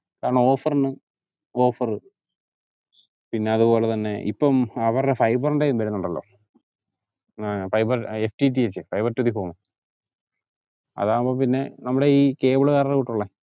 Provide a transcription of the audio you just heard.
കാരണം offer നും offer പിന്നെ അതുപോലെ തന്നെ ഇപ്പം അവരുടെ fiber ൻറെയും വരുന്നുണ്ടല്ലോ ആഹ് fibre FTTFFiber To The Form അതാവുമ്പോ പിന്നെ നമ്മടെയീ cable കാരോട്ടുള്ള